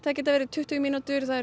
getað verið tuttugu mínútur það eru